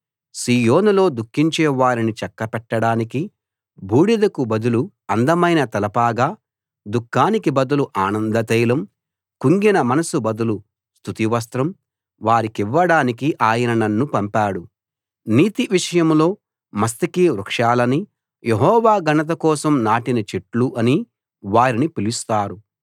సీయోనులో దుఃఖించేవారిని చక్కపెట్టడానికి బూడిదకు బదులు అందమైన తలపాగా దుఃఖానికి బదులు ఆనందతైలం కుంగిన మనసు బదులు స్తుతి వస్త్రం వారికివ్వడానికి ఆయన నన్ను పంపాడు నీతి విషయంలో మస్తకి వృక్షాలనీ యెహోవా ఘనతకోసం నాటిన చెట్లు అనీ వారిని పిలుస్తారు